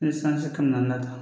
Ni sanji kɛmɛ naani ta